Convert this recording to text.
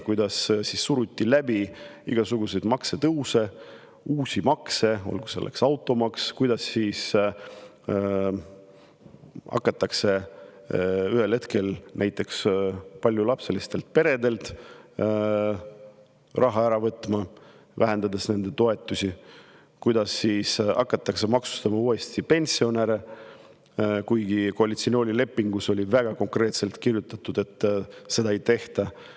Kuidas ikkagi suruti läbi igasuguseid maksutõuse ja uusi makse, näiteks automaksu, kuidas ühel hetkel hakati paljulapselistelt peredelt raha ära võtma, vähendades nende toetusi, kuidas hakati uuesti maksustama pensioneid, kuigi koalitsioonilepingusse oli väga konkreetselt kirjutatud, et seda ei tehta.